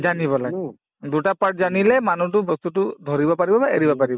জানিব লাগে দুটা part জানিলে মানুহটো বস্তুতো ধৰিব পাৰিব বা এৰিব পাৰিব